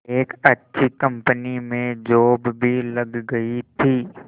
एक अच्छी कंपनी में जॉब भी लग गई थी